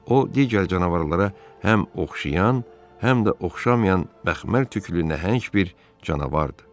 O digər canavarlara həm oxşayan, həm də oxşamayan məxmər tüklü nəhəng bir canavardır.